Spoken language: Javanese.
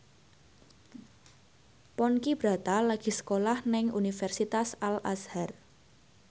Ponky Brata lagi sekolah nang Universitas Al Azhar